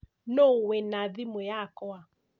Nũũ wĩna thimu yakwa?